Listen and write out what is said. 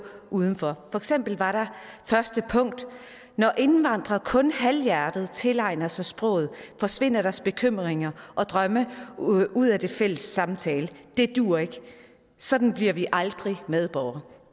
udenfor for eksempel var første punkt når indvandrere kun halvhjertet tilegner sig sproget forsvinder deres bekymringer og drømme ud af den fælles samtale og det duer ikke for sådan bliver de aldrig medborgere